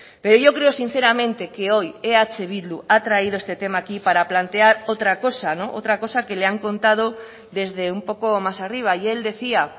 pero yo creo sinceramente que hoy eh bildu ha traído este tema aquí para plantear otra cosa otra cosa que le han contado desde un poco más arriba y él decía